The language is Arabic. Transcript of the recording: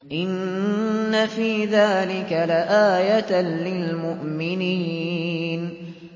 إِنَّ فِي ذَٰلِكَ لَآيَةً لِّلْمُؤْمِنِينَ